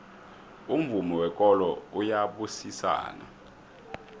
umvumo wekolo uyabusisana